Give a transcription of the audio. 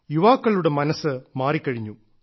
യുവാക്കളുടെ മനസ്സ് മാറിക്കഴിഞ്ഞു